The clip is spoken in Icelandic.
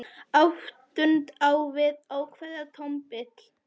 Áttund á við ákveðið tónbil.